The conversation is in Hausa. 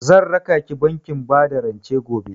Zan rakaki bankin bada rance gobe.